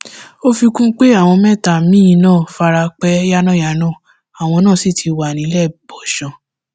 ó fi kún un pé àwọn mẹta míín náà fara pa yánnayànna àwọn náà sì ti wà níléebọsán